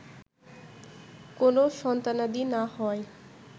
কোনো সন্তানাদি না হওয়ায়